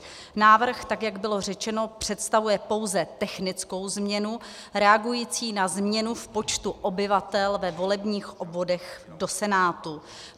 Návrh, tak jak bylo řečeno, představuje pouze technickou změnu reagující na změnu v počtu obyvatel ve volebních obvodech do Senátu.